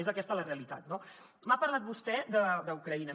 és aquesta la realitat no m’ha parlat vostè d’ucraïna